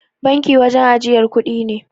Banki wajan ajiyar kudi ne.